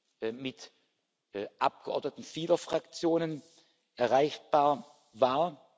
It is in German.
aus Abgeordneten vieler Fraktionen erreichbar war.